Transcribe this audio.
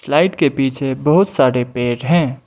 Slide के पीछे बहोत सारे पेड़ हैं।